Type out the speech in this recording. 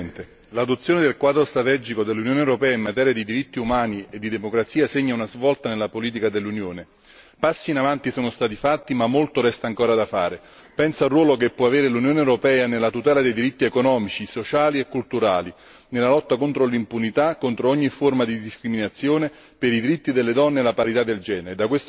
Signora Presidente, onorevoli colleghi, l'adozione del quadro strategico dell'Unione europea in materia di diritti umani e di democrazia segna una svolta nella politica dell'Unione. Passi in avanti sono stati fatti ma molto resta ancora da fare. Penso al ruolo che può avere l'Unione europea nella tutela dei diritti economici, sociali e culturali, nella lotta contro l'impunità, contro ogni forma di discriminazione, per i diritti delle donne e la parità di genere.